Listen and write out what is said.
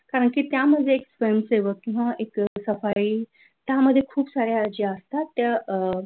कारण की त्यामध्ये एक जनसेवक किंवा एक सफाई त्यामध्ये खूप साऱ्या जे असतात त्या अ म्हणजे ऍक्टिव्हिटी आहेत ज्या कृती आहे त्या मध्ये असतात.